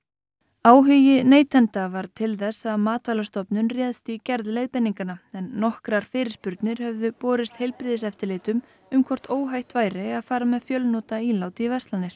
áhugi neytenda varð til þess að Matvælastofnun réðst í gerð leiðbeininganna en nokkrar fyrirspurnir höfðu borist heilbrigðiseftirlitum um hvort óhætt væri að fara með fjölnota ílát í verslanir